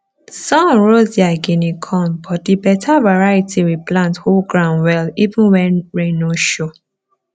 sun roast their guinea corn but the better variety we plant hold ground well even when rain no show